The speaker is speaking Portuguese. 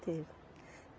Teve.